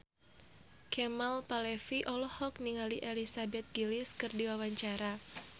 Kemal Palevi olohok ningali Elizabeth Gillies keur diwawancara